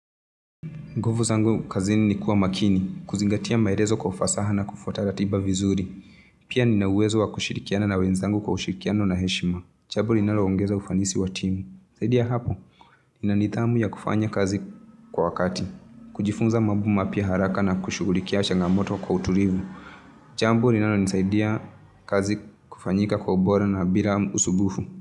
Nguvu zangu kazini ni kuwa makini, kuzingatia maerezo kwa ufasaha na kufuata ratiba vizuri. Pia nina uwezo wa kushirikiana na wenzangu kwa ushirikiano na heshima. Jambo linalo ongeza ufanisi wa timu. Zaidi ya hapo, ina nidhamu ya kufanya kazi kwa kati. Kujifunza mambo mapya haraka na kushughulikia changamoto kwa uturivu. Jambo linalo nisaidia kazi kufanyika kwa ubora na bila usubufu.